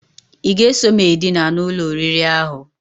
I ga-eso m edina n'ụlọ oriri ahụ?